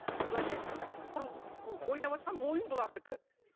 былайша айтқанда құр ойнаватқан ойын бұлардікі